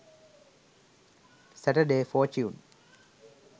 saturday fortune